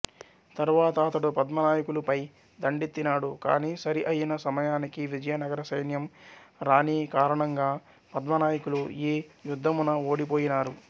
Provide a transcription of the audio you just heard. తరువాత అతడు పద్మనాయకులుపై దండెత్తినాడు కానీ సరిఅయిన సమయానికి విజయనగర సైన్యం రానికారణంగా పద్మనాయకులు ఈ యుద్ధమున ఓడిపొయినారు